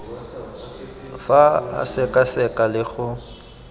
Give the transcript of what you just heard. fa a sekaseka le go